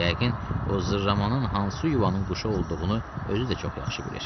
Yəqin o zırramanın hansı yuvanın quşu olduğunu özü də çox yaxşı bilir.